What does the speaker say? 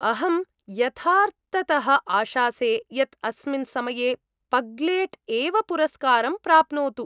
अहं यथार्थतः आशासे यत् अस्मिन् समये पग्लेट् एव पुरस्कारं प्राप्नोतु।